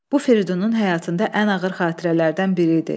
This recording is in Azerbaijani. Bu Firidunun həyatında ən ağır xatirələrdən biri idi.